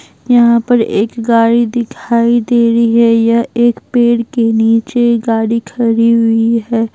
यहां पर एक गाड़ी दिखाई दे रही है यह एक पेड़ के नीचे गाड़ी खड़ी हुई है।